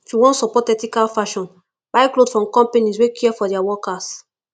if you wan support ethical fashion buy cloth from companies wey care for dia workers